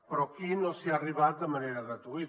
però aquí no s’hi ha arribat de manera gratuïta